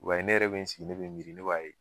Wa ne yɛrɛ sigilen be to ne b'a ye